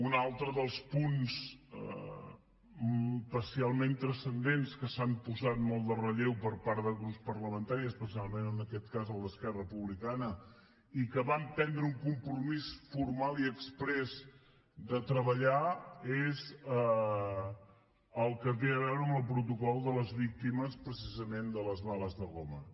un altre dels punts especialment transcendents que s’han posat molt de relleu per part de grups parlamentaris especialment en aquest cas el d’esquerra republicana i que van prendre un compromís formal i exprés de treballar és el que té a veure amb el protocol de les víctimes precisament de les bales de goma